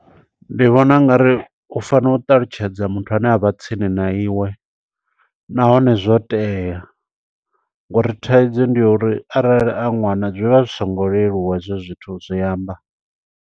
Ndi vhona ungari u fanela u ṱalutshedza muthu ane avha tsini na iwe. Nahone zwo tea, ngo uri thaidzo ndi yo uri arali a ṅwana, zwi vha zwi singo leluwa hezwo zwithu u zwi amba.